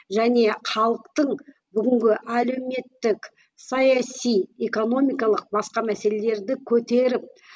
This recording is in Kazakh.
және халықтың бүгінгі әлеуметтік саяси экономикалық басқа мәселелерді көтеріп